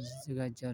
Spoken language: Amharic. ይዘጋጃሉ